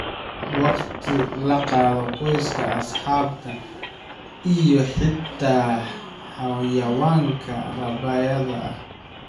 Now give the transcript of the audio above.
Waqti la qaado qoyska, asxaabta, iyo xitaa xayawaanka rabaayada ah.